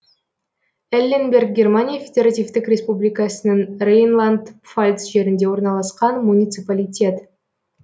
элленберг германия федеративтік республикасының рейнланд пфальц жерінде орналасқан муниципалитет